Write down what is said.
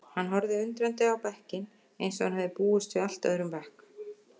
Hann horfði undrandi á bekkinn eins og hann hefði búist við allt öðrum bekk.